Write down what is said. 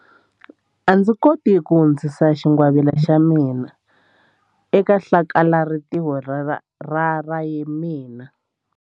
A ndzi koti ku hundzisa xingwavila xa mina eka hlakalarintiho ra ra mina.